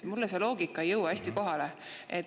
Mulle see loogika ei jõua kohale.